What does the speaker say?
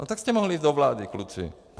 No tak jste mohli jít do vlády, kluci.